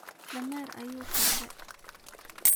Dameer ayu korde.